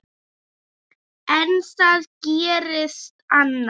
En það gerðist annað.